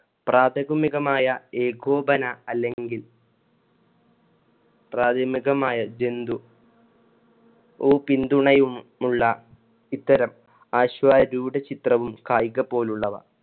പ്രാഥമികമായ ഏകോപന അല്ലെങ്കിൽ പ്രാഥമികമായ ജന്തു ഓ പിന്തുണയുമുള്ള ഇത്തരം അശ്വാരൂഢ ചിത്രവും കായികപോലുള്ളവ